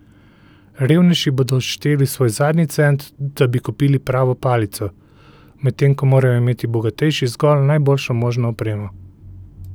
Revnejši bodo odšteli svoj zadnji cent, da bi kupili pravo palico, medtem ko morajo imeti bogatejši zgolj najboljšo možno opremo.